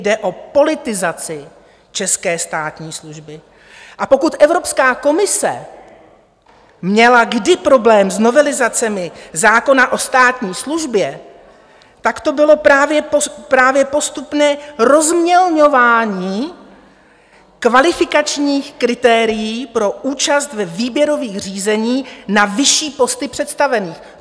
Jde o politizaci české státní služby, a pokud Evropská komise měla kdy problém s novelizacemi zákona o státní službě, tak to bylo právě postupné rozmělňování kvalifikačních kritérií pro účast ve výběrových řízeních na vyšší posty představených.